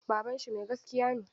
Babanshi mai gaskiya ne.